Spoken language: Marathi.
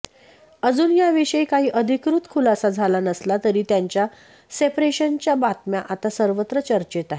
अजून याविषयी काही अधिकृत खुलासा झाला नसला तरी त्यांच्या सेपरेशनच्या बातम्या आता सर्वत्र चर्चेत आहेत